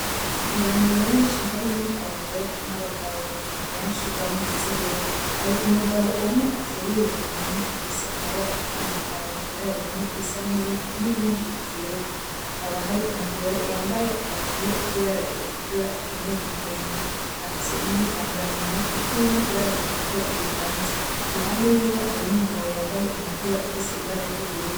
Abantu benshi harimwo abagore n’abagabo benshi banezerewe. Hari umugabo umwe ateruye impene ifise amabara atandukanye: ibara rimwe risa n’ivu n’irindi ryera. Hakaba hari umugore yambaye agapira k’ibara ritukura akenyeye igitenge, afise n’igitambara mumutwe kirimwo ibara ritukura rivanze. Iruhande yiwe hari n’umugabo yambaye umupira ufise ibara ry’ubururu.